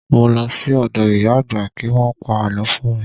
Mo lọ sí ọ̀dọ̀ ìyá àgbà kí Wọ́n pa àlọ́ fún mi.